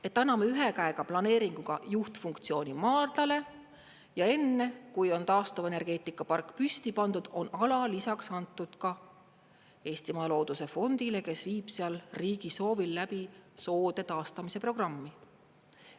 Et anname ühe käega planeeringuga juhtfunktsiooni maardlale ja enne, kui on taastuvenergeetikapark püsti pandud, on ala lisaks antud ka Eestimaa Looduse Fondile, kes viib seal riigi soovil läbi soode taastamise programmi.